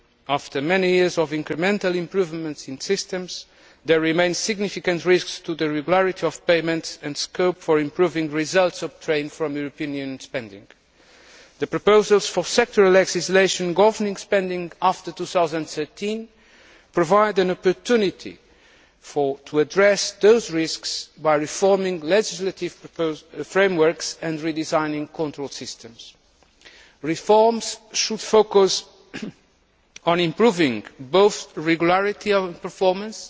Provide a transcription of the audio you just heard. After many years of incremental improvements in systems, there remain significant risks to the regularity of payments and scope for improving the results obtained from European Union spending. The proposals for sectoral legislation governing spending after 2013 provide an opportunity to address those risks by reforming legislative frameworks and redesigning control systems. Reforms should focus on improving both regularity of the performance